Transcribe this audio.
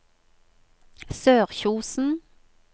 Sørkjosen